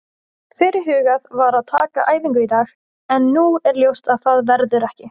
Fyrirhugað var að taka æfingu í dag en nú er ljóst að svo verður ekki.